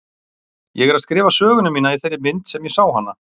Ég er að skrifa söguna mína í þeirri mynd sem ég sé hana.